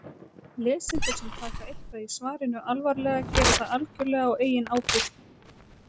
lesendur sem taka eitthvað í svarinu alvarlega gera það algjörlega á eigin ábyrgð